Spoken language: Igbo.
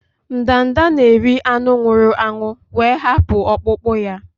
Ndanda na-eri anụ nwụrụ anwụ wee hapụ ọkpụkpụ ya.